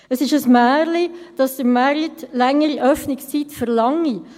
Es ist ein Märchen, dass der Markt längere Ladenöffnungszeiten verlangt!